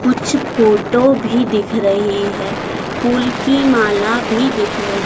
कुछ फोटो भी दिख रही है फूल की माला भी दिख रही--